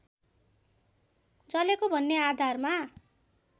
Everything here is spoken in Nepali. जलेको भन्ने आधारमा